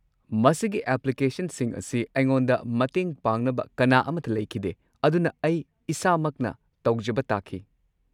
ꯃꯁꯤꯒꯤ ꯑꯦꯄ꯭ꯂꯤꯀꯦꯁꯟꯁꯤꯡ ꯑꯁꯤ ꯑꯩꯉꯣꯟꯗ ꯃꯇꯦꯡ ꯄꯥꯡꯅꯕ ꯀꯅꯥ ꯑꯃꯠꯇ ꯂꯩꯈꯤꯗꯦ, ꯑꯗꯨꯅ ꯑꯩ ꯏꯁꯥꯃꯛꯅ ꯇꯧꯖꯕ ꯇꯥꯈꯤ꯫